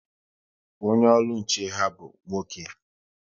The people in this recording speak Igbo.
Onye olu nche ha bụ nwoke